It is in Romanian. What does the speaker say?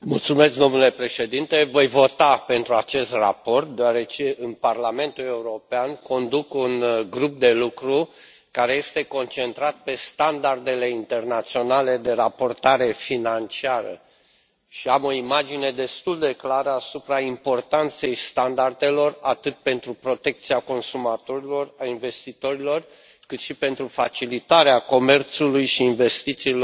Domnule președinte, voi vota pentru acest raport, deoarece, în Parlamentul European, conduc un grup de lucru care este concentrat pe Standardele internaționale de raportare financiară și am o imagine destul de clară asupra importanței standardelor atât pentru protecția consumatorilor, a investitorilor, cât și pentru facilitarea comerțului și investițiilor